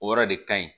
O yɔrɔ de ka ɲi